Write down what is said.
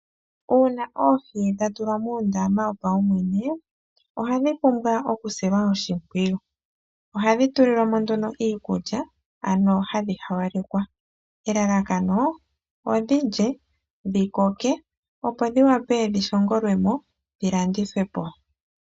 Uuna oohi dha tulwa muundama wopaumwene ohadhi pumbwa oku silwa oshimpwiyu ano hadhi pewa iikulya mbyoka yoohi, nelalakano opo dhilye dhi koke dho dhi vule okulandithwa po.